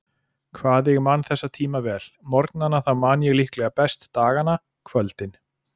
Hvað ég man þessa tíma vel: morgnana þá man ég líklega best dagana, kvöldin.